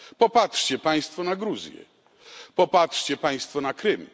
Popatrzcie Państwo na Gruzję. Popatrzcie Państwo na Krym.